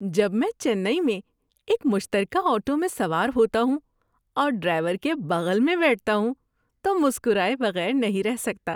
‏جب میں چنئی میں ایک مشترکہ آٹو میں سوار ہوتا ہوں اور ڈرائیور کے بغل میں بیٹھتا ہوں تو مسکرائے بغیر نہیں رہ سکتا۔